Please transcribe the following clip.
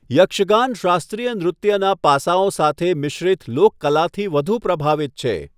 યક્ષગાન શાસ્ત્રીય નૃત્યનાં પાસાઓ સાથે મિશ્રિત લોક કળાથી વધુ પ્રભાવિત છે.